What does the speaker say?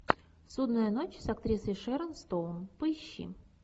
судная ночь с актрисой шэрон стоун поищи